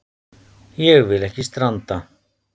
Ég vil ekki stranda.